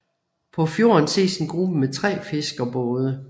På fjorden ses en gruppe med tre fiskerbåde